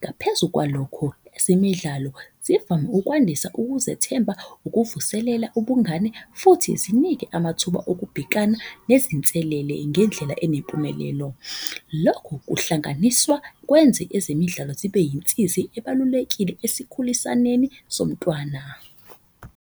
Ngaphezu kwalokho, ezemidlalo zivame ukwandisa ukuzethemba, ukuvuselela ubungani. Futhi zinike amathuba okubhekana nezinselele ngendlela enempumelelo. Lokhu kuhlanganiswa kwenze ezemidlalo zibe insizi ebalulekile esikhulisaneni somntwana.